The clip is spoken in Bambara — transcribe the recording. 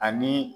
Ani